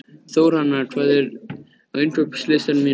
Þórhanna, hvað er á innkaupalistanum mínum?